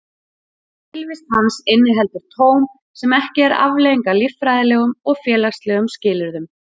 Tilvist hans inniheldur tóm sem ekki er afleiðing af líffræðilegum og félagslegum skilyrðum.